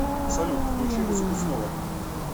салют включи музыку снова